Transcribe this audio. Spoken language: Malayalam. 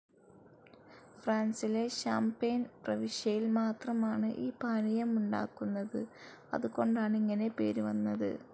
ഫ്രാൻസിലെ ഷാം‌പെയ്‌ൻ പ്രവിശ്യയിൽ മാത്രമാണ് ഈ പാനീയമുണ്ടാക്കുന്നത്.അതുകൊണ്ടാണ് ഇങ്ങനെ പേരു വന്നത്.